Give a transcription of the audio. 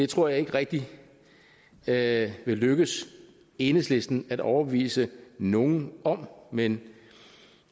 tror jeg ikke rigtig det vil lykkes enhedslisten at overbevise nogen om men